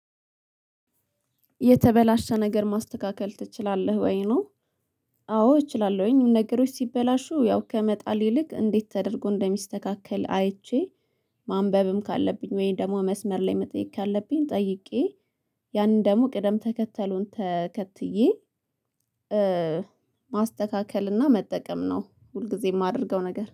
የተበላሸ ነገር ማስተካከል ትችላለህ ወይ ነው? አዎ እችላለሁኝ ነገሮች ሲበላሹ ያው ከመጣል ይልቅ እንዴት ተደርጎ እንደሚስተካከል አይቼ። ማንበብም ካለብኝ ወይም ደግሞ መስመር ላይ መጠየቅ ካለብኝ ጠይቄ ያንን ደግሞ ቅደም ተከተሉን ተከትዬ። ማስተካከል እና መጠቀም ነው ሁልጊዜም የማደርገው ነገር